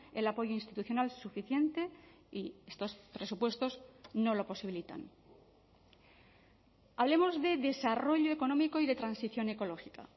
el apoyo institucional suficiente y estos presupuestos no lo posibilitan hablemos de desarrollo económico y de transición ecológica